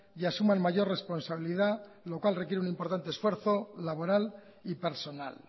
y asuman mayor responsabilidad lo cual requiere un importante esfuerzo laboral y personal